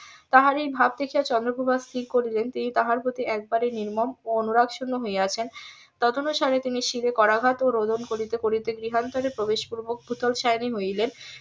তাহার এই ভাব দেখিয়া চন্দ্রপ্রভা ঠিক করিলেন তিনি তাহার প্রতি একেবারে নির্মম ও অনুরাগ শুন্য হইয়াছেন . তিনি শিরে করাঘাত ও রোদন করিতে করিতে গৃহান্তরে প্রবেশ পূর্বক ভূতল সয়নি হইলেন